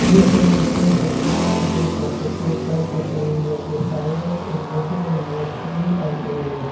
this image shows the A_T_M booth of the State Bank of India the signage is written in both hindi and english.